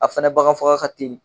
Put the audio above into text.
A fana baganfaga ka teli